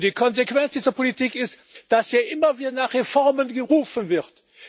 Und die Konsequenz dieser Politik ist, dass hier immer wieder nach Reformen gerufen wird.